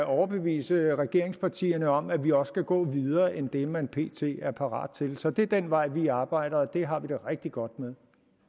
overbevise regeringspartierne om at vi også kan gå videre end det man pt er parat til så det er den vej vi arbejder og det har vi det rigtig godt med